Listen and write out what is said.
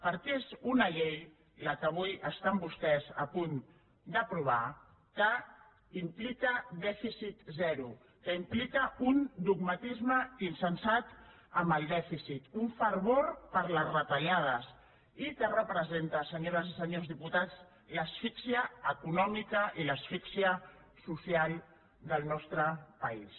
perquè és una llei la que avui estan vostès a punt d’aprovar que implica dèficit zero que implica un dogmatisme insensat amb el dèficit un fervor per les retallades i que representa senyores i senyors diputats l’asfíxia econòmica i l’asfíxia social del nostre país